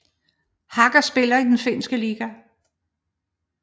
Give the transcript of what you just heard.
Haka spiller i den finske liga